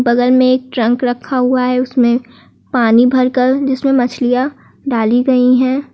बगल में एक ट्रंक रखा हुआ है उसमें पानी भर कर जिसमें मछलियां डाली गई हैं।